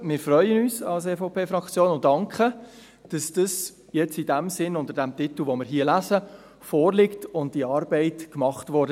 Als EVPFraktion freuen wir uns und danken, dass es in diesem Sinn, unter dem Titel, den wir hier lesen, vorliegt und die Arbeit gemacht wurde.